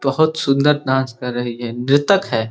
बहोत सुन्दर नाच कर रही है। नृतक है।